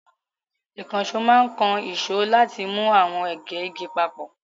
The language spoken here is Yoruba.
Ìkànṣó máa ń kan ìṣó láti mú àwọn ègé igi papọ̀.